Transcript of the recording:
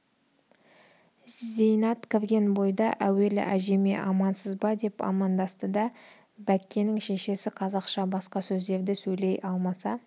зейнат кірген бойда әуелі әжеме амансыз ба деп амандасты да бәккенің шешесі қазақша басқа сөздерді сөйлей алмаса